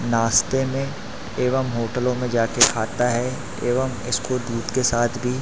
नाश्ते में एवं होटलों में जाके खाता है एवं इसको दूध के साथ भी--